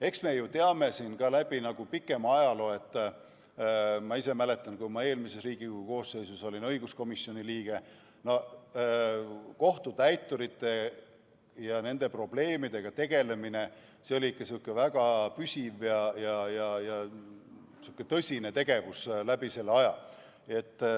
Eks me ju teame ka läbi pikema ajaloo – ma ise mäletan, kui ma eelmises Riigikogu koosseisus olin õiguskomisjoni liige –, et kohtutäiturite ja nende probleemidega tegelemine oli ikka sihuke väga püsiv ja tõsine tegevus kogu aeg.